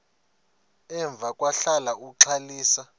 emva kwahlala uxalisa